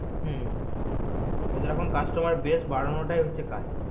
হু ওদের এখন customer বেশ বাড়ানোটাই কাজ